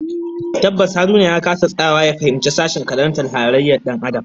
Tabbas Haruna ya kasa tsayawa ya fahimci sashen karantar halayyar Dan Adam